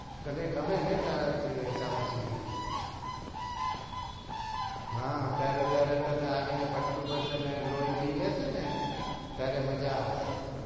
તને ગમે ને ચામાંચીડ્યું હા ત્યારે જયારે તને જોઈએ ને બટકું ભરશે ને લોઈ પી લેશે ને ત્યારે મજા આવશે